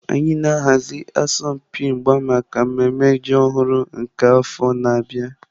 Anyị na-ahazi asọmpi mgba maka mmemme ji ọhụrụ nke afọ na-abịa.